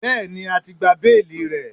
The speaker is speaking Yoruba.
Bẹ́ẹ̀ni, a ti gba béèlì rẹ̀.